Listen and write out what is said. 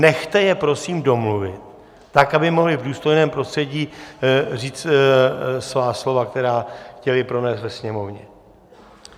Nechte je prosím domluvit tak, aby mohli v důstojném prostředí říct svá slova, která chtěli pronést ve sněmovně.